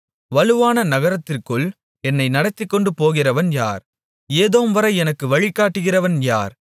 வலுவான நகரத்திற்குள் என்னை நடத்திக்கொண்டு போகிறவன் யார் ஏதோம்வரை எனக்கு வழிகாட்டுகிறவன் யார்